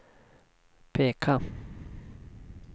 peka